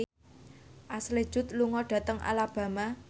Ashley Judd lunga dhateng Alabama